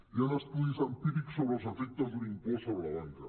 hi han estudis empírics sobre els efectes d’un impost sobre la banca